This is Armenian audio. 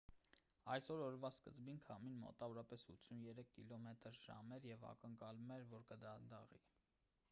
այսօր օրվա սկզբին քամին մոտավորապես 83 կմ/ժ էր և ակնկալվում էր որ կդանդաղի: